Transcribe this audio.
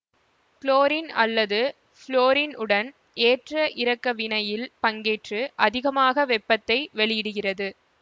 chlorine அல்லது fluorine உடன் ஏற்ற இறக்க வினையில் பங்கேற்று அதிகமாக வெப்பத்தை வெளிவிடுகிறது